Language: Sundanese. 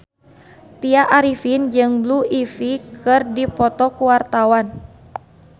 Tya Arifin jeung Blue Ivy keur dipoto ku wartawan